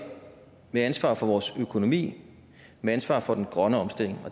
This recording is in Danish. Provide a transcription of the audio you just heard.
med ansvar for vores økonomi med ansvar for den grønne omstilling